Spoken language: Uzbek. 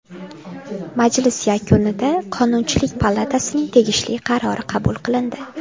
Majlis yakunida Qonunchilik palatasining tegishli qarori qabul qilindi.